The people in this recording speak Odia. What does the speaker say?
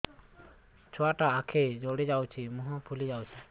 ଛୁଆଟା ଆଖି ଜଡ଼ି ଯାଉଛି ମୁହଁ ଫୁଲି ଯାଉଛି